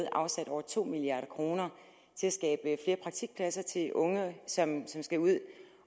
afsat over to milliard kroner til at skabe flere praktikpladser til unge som skal ud